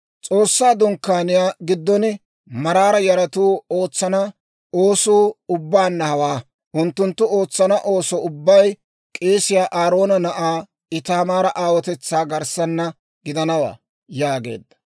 S'oossaa Dunkkaaniyaa giddon Maraara yaratuu ootsana oosuu ubbaanna hawaa. Unttunttu ootsana ooso ubbay k'eesiyaa Aaroona na'aa Itaamaara aawotetsaa garssaana gidanawaa» yaageedda.